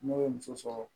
N'o ye muso sɔrɔ